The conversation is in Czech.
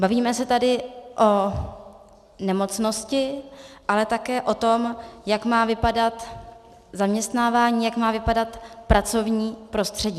Bavíme se tady o nemocnosti, ale také o tom, jak má vypadat zaměstnávání, jak má vypadat pracovní prostředí.